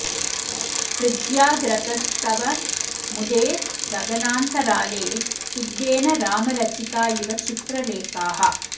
पृज्याग्रतस्तव मुदे गगनान्तराले सिद्धेन राम रचिता इव चित्रलेखाः